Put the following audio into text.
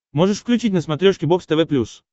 можешь включить на смотрешке бокс тв плюс